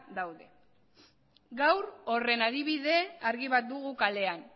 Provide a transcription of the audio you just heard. daude gaur horren adibide argi bat dugu kalean